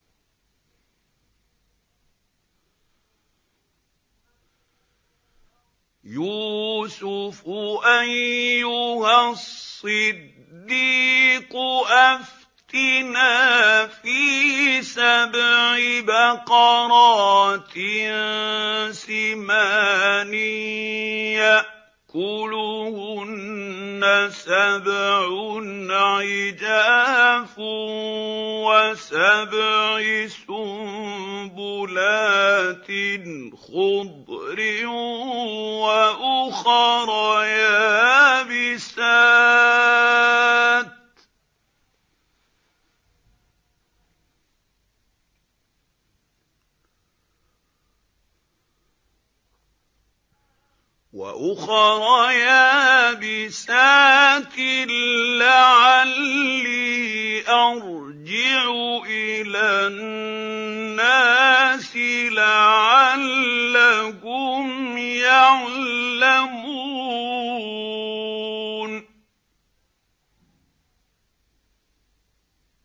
يُوسُفُ أَيُّهَا الصِّدِّيقُ أَفْتِنَا فِي سَبْعِ بَقَرَاتٍ سِمَانٍ يَأْكُلُهُنَّ سَبْعٌ عِجَافٌ وَسَبْعِ سُنبُلَاتٍ خُضْرٍ وَأُخَرَ يَابِسَاتٍ لَّعَلِّي أَرْجِعُ إِلَى النَّاسِ لَعَلَّهُمْ يَعْلَمُونَ